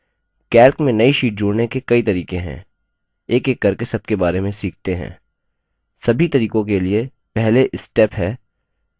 calc में नई sheet जोड़ने के कई तरीके हैं एकएक करके सबके बारे में सीखते हैं